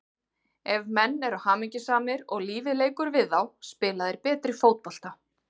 Ef menn eru hamingjusamir og lífið leikur við þá spila þeir betri fótbolta.